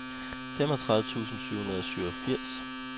femogtredive tusind syv hundrede og syvogfirs